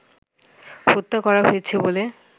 হত্যা করা হয়েছে বলে